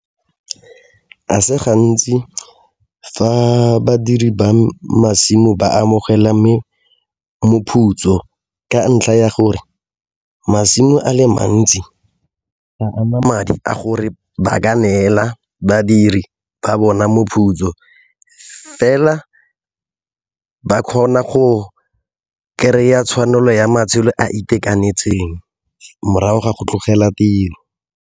A se gantsi fa badiri ba masimo ba amogela moputso ka ntlha ya gore masimo a le mantsi ga ana madi a gore ba ka neela badiri ba bona moputso fela ba kgona go kry-a tshwanelo ya matshelo a itekanetseng morago ga go tlogela tiro.